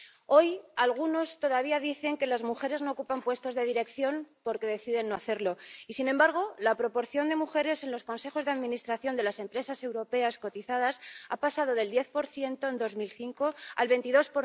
Hoy, algunos todavía dicen que las mujeres no ocupan puestos de dirección porque deciden no hacerlo. Y, sin embargo, la proporción de mujeres en los consejos de administración de las empresas europeas cotizadas ha pasado del 10 en 2005 al 22